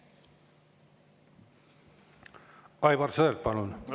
Aivar Sõerd, palun!